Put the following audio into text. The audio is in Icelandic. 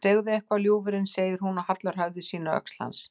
Segðu eitthvað, ljúfurinn, segir hún og hallar höfði sínu að öxl hans.